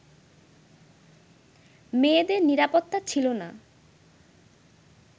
মেয়েদের নিরাপত্তা ছিল না